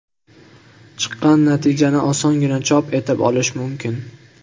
Chiqqan natijani osongina chop etib olish mumkin.